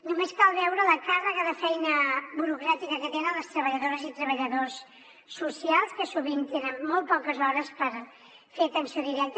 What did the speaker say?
només cal veure la càrrega de feina burocràtica que tenen les treballadores i treballadors socials que sovint tenen molt poques hores per fer atenció directa